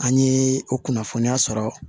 An ye o kunnafoniya sɔrɔ